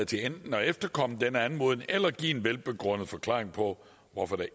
til enten at efterkomme denne anmodning eller give en velbegrundet forklaring på hvorfor det